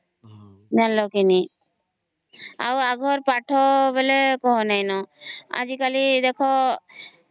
ଜାଣିଲ କେ ନାଇଁ ଆଉ ଆଗର ପାଠ ବେଳେ କଣ ନାହିଁ ନ